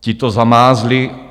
Ti to zamázli.